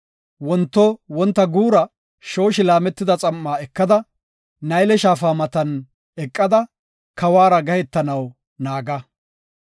Wonto wonta guura shooshi laametida xam7aa ekada, Nayle Shaafa matan eqada, kawuwara gahetanaw naaga.